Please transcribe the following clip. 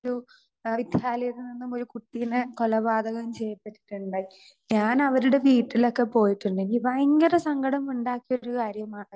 Speaker 2 ഒരു വിദ്യാലയത്തിൽ നിന്നും ഒരു കുട്ടീനെ കൊലപാതകം ചെയ്തിട്ടുണ്ട്. ഞാൻ അവരുടെ വീട്ടിലൊക്കെ പോയിട്ടുണ്ട്. എനിക്ക് ഭയങ്കര സങ്കടം ഉണ്ടാക്കിയിട്ടുള്ള ഒരു കാര്യമാണ്